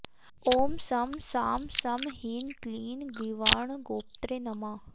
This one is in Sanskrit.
ॐ शं शां षं ह्रीं क्लीं गीर्वाणगोप्त्रे नमः